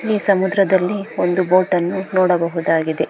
ಈ ಸಮುದ್ರದಲ್ಲಿ ಒಂದು ಬೋಟ್ ಅನ್ನು ನೋಡಬಹುದಾಗಿದೆ.